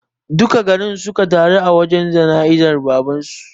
Duka garin suka taru a wajen jana'izar baban su